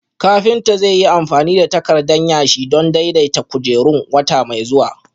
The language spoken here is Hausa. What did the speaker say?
Kafinta zai yi amfani da takardan yashi don daidaita kujerun wata mai zuwa